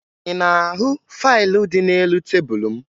Ị na-ahụ faịlụ dị n'elu tebulu m?